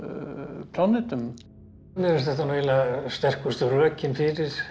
plánetum mér finnst þetta sterkustu rökin fyrir þessum